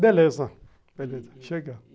Beleza, beleza, chega.